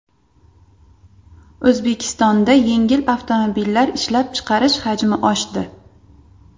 O‘zbekistonda yengil avtomobillar ishlab chiqarish hajmi oshdi.